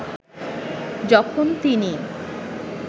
যখন তিনি